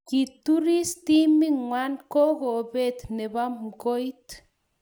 Kituris timit ng'wang kokombet ne bo mkoit.